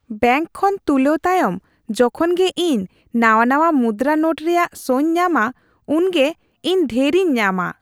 Bank ᱠᱷᱳᱱ ᱛᱩᱞᱟᱹᱣ ᱛᱟᱭᱚᱢ ᱡᱚᱠᱷᱚᱱ ᱜᱮ ᱤᱧ ᱱᱟᱶᱟ ᱱᱟᱶᱟ ᱢᱩᱫᱨᱟ ᱱᱳᱴ ᱨᱮᱭᱟᱜ ᱥᱚᱧ ᱧᱟᱢᱟ ᱩᱱᱜᱮ ᱤᱧ ᱰᱷᱮᱨᱤᱧ ᱧᱟᱢᱟ ᱾